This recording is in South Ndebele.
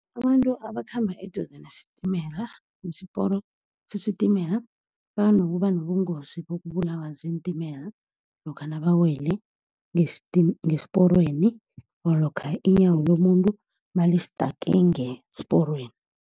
Abantu abakhamba eduze nesitimela, nesiporo sesitimela banokuba nobungozi bokubulawa ziintimela lokha nabawele ngesporweni or lokha iinyawo lomuntu nalistake ngesporweni.